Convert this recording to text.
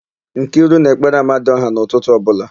Nkiru na-ekpere amadiọha n'ụtụtụ ọbụla.